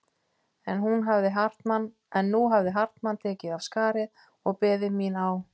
En nú hafði Hartmann tekið af skarið og beðið mín á